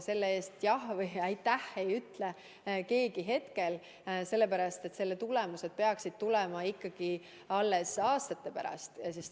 Selle eest aitäh ei ütle hetkel keegi, sellepärast et tulemused peaksid paistma hakkama ikka alles aastate pärast.